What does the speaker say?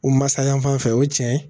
U masa ya yan fan fɛ o ye tiɲɛ ye